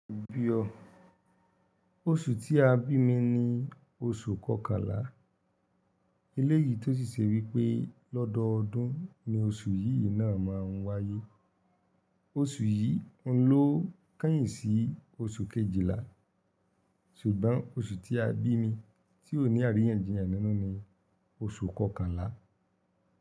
Oṣù tí a bí mi ni oṣù kọkànlá. Eléyìí tó ṣì ṣe wípé lọ́dọọdún ni oṣù yíì náà máa ń wáyé. Oṣù yìí ń lọ kányìn sí oṣù kejìlá, ṣùgbọ́n oṣù tí a bí mi tí ò ní àríyànjiyàn nínú ni oṣù kọkànlá.